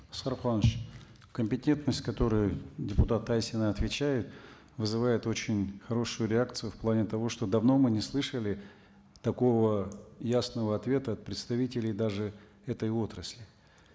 компетентность которая депутат айсина отвечает вызывает очень хорошую реакцию в плане того что давно мы не слышали такого ясного ответа от представителей даже этой отрасли